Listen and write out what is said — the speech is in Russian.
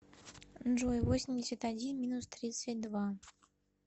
джой восемьдесят один минус тридцать два